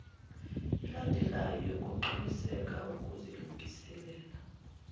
elandelwayo yokuqiniseka ukuzilungiselela